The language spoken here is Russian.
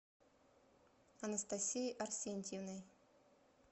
анастасией арсентьевной